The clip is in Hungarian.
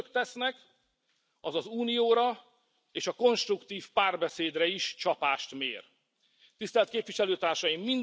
Amit Önök tesznek, az az Unióra és a konstruktív párbeszédre is csapást mér. Tisztelt Képviselőtársaim!